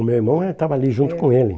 O meu irmão estava ali junto com ele.